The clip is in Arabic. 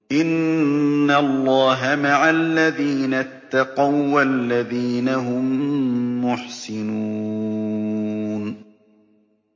إِنَّ اللَّهَ مَعَ الَّذِينَ اتَّقَوا وَّالَّذِينَ هُم مُّحْسِنُونَ